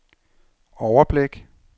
overblik